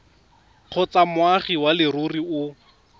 kgotsa moagi wa leruri o